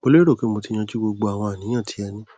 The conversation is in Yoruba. mo lérò pé mo ti yanjú gbogbo àwọn àníyàn tí ẹ ní